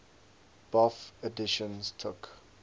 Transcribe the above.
bofh editions took